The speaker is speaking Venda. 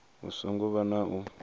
hu songo vha na u